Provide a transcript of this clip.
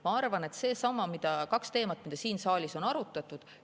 Ma arvan, et needsamad kaks teemat, mida siin saalis on arutatud.